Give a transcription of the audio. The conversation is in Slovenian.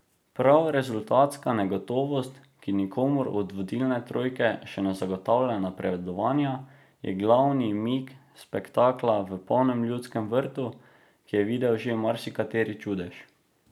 Prav rezultatska negotovost, ki nikomur od vodilne trojke še ne zagotavlja napredovanja, je glavni mik spektakla v polnem Ljudskem vrtu, ki je videl že marsikateri čudež.